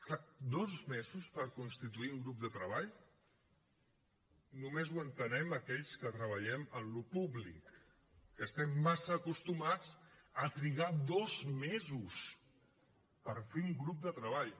clar dos mesos per constituir un grup de treball només ho entenem aquells que treballem en allò públic que estem massa acostumats a trigar dos mesos per fer un grup de treball